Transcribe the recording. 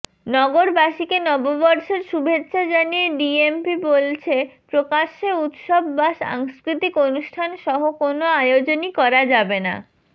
নগরবাসীকে নববর্ষের শুভেচ্ছা জানিয়ে ডিএমপি বলছে প্রকাশ্যে উৎসব বা সাংস্কৃতিক অনুষ্ঠানসহ কোনো আয়োজনই করা যাবেনা